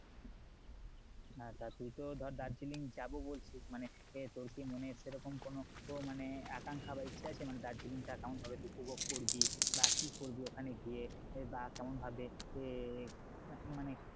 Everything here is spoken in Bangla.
হ্যাঁ তা তুই তো ধর দার্জিলিং যাবো বলছিস মানে তোর কি মনে সেরকম কোনো মানে আকাঙ্খা বা ইচ্ছা আছে মানে দার্জিলিংটা কেমন ভাবে উপভোগ করবি বা কি করবি ওখানে গিয়ে বা কেমন ভাবে~ এ মানে